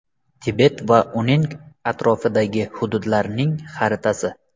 Tibet va uning atrofidagi hududlarning xaritasi.